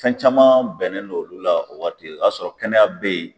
Fɛn caman bɛnnen n'olu la o waati, o y'a sɔrɔ kɛnɛya be yen